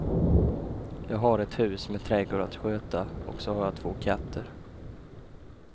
Jag har ett hus med trädgård att sköta, och så har jag två katter.